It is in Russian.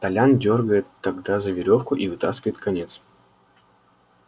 толян дёргает тогда за верёвку и вытаскивает конец